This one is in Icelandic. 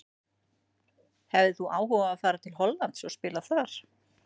Hefðir þú áhuga á að fara til Hollands og spila þar?